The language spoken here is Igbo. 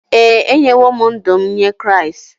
Ee, enyewo m ndụ m nye Kraịst.